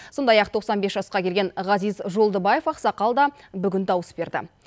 сондай ақ тоқсан бес жасқа келген ғазиз жолдыбаев ақсақал да бүгін дауыс берді